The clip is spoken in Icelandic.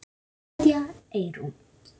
Kveðja, Eyrún.